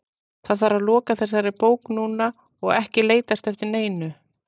Það þarf að loka þessari bók núna og ekki leitast eftir neinu.